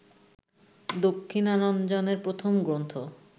দক্ষিণারঞ্জনের প্রথম গ্রন্থ